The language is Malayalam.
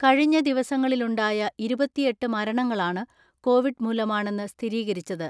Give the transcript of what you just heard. കഴിഞ്ഞ ദിവസങ്ങളിലുണ്ടായ ഇരുപത്തിഎട്ട് മരണങ്ങളാണ് കോവിഡ് മൂലമാണെന്ന് സ്ഥിരീകരിച്ചത്.